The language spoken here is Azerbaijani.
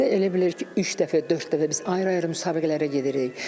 İldə elə bilər ki, üç dəfə, dörd dəfə biz ayrı-ayrı müsabiqələrə gedirik.